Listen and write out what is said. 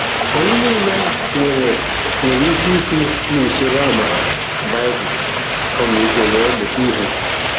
Anyị nile nwere nwere ike i si n'usoro amara, Bible, ọmịiko were mụta ihe.